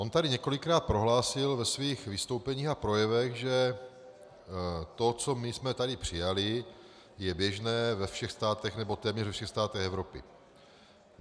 On tady několikrát prohlásil ve svých vystoupeních a projevech, že to, co my jsme tady přijali, je běžné ve všech státech, nebo téměř ve všech státech Evropy.